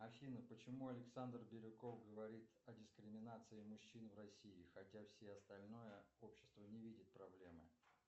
афина почему александр бирюков говорит о дискриминации мужчин в россии хотя все остальное общество не видит проблемы